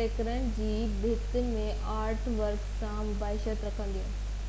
tags جي ڀيٽ ۾ artwork سان مشابت رکن ٿيون